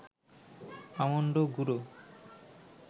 almond গুঁড়ো